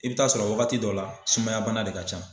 I bɛ taa sɔrɔ wagati dɔ la sumaya bana de ka can.